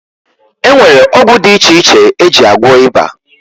E nwere ọgwụ dị iche iche e ji agwọ ịba